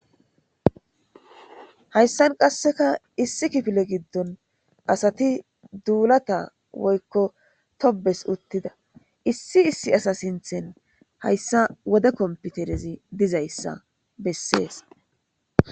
Haysa qasseka issi kifile giddon asati dullata/tobanas uttida issta issi issi assa sinthan haysa wode kompiterezi dizaysa beeses